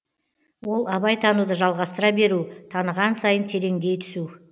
ол абай тануды жалғастыра беру таныған сайын тереңдей түсу